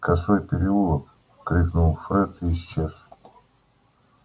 косой переулок крикнул фред и исчез